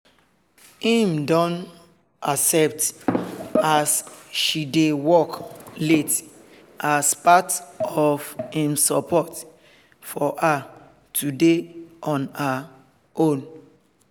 im don accept as she dey work late as part of im support for her to dey on her own